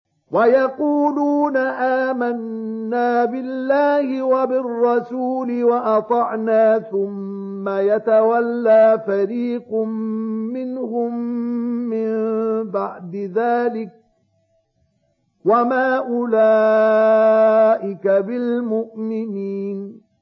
وَيَقُولُونَ آمَنَّا بِاللَّهِ وَبِالرَّسُولِ وَأَطَعْنَا ثُمَّ يَتَوَلَّىٰ فَرِيقٌ مِّنْهُم مِّن بَعْدِ ذَٰلِكَ ۚ وَمَا أُولَٰئِكَ بِالْمُؤْمِنِينَ